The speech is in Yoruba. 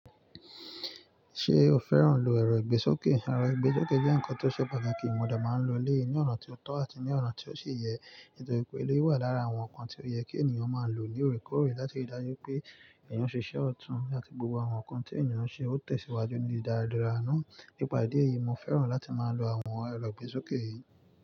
Ṣé o fẹ́ràn lò èrò ìgbésókè? Ẹ̀rọ ìgbésókè jẹ́ ǹkan tó ṣe pàtàkì, mo dà máa n lo lé ní ọ̀nà tí o tọ́ àti ní ọ̀nà tí o sì yẹ, nítorí pé eléyi wà lára àwọn ǹkan tí ó yẹ kí ènìyàn máa lo ní òrèkóòrè láti rí dájú pé ènìyàn ṣiṣẹ́ ọ̀tún àti gbogbo àwọn ǹkan tí ènìyàn ń ṣe ó tẹ̀síwájú ni daradaraà náà. Nípà ìdí èyí, mo fẹ́ràn láti máa lo àwọn ẹ̀rọ ìgbésókè yìí.